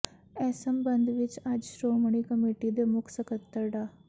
ਇਸ ਸਬੰਧ ਵਿਚ ਅੱਜ ਸ਼੍ਰੋਮਣੀ ਕਮੇਟੀ ਦੇ ਮੁੱਖ ਸਕੱਤਰ ਡਾ